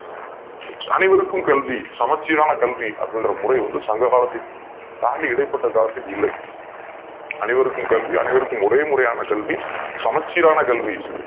அனைவருக்கும் கல்வி சமச்சீரான கல்வி என்பது சங்ககாலத்தை தாண்டி இடைப்பட்ட காலத்தில் இல்லை அனைவருக்கும் கல்வி அனைவருக்கும் ஒரே முறையான கல்வி சமச்சீர் ஆன கல்வி